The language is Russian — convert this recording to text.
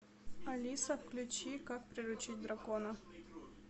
алиса включи как приручить дракона